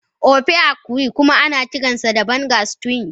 Ofe akwu kuma ana kiransa Banga stew